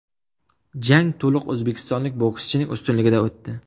Jang to‘liq o‘zbekistonlik bokschining ustunligida o‘tdi.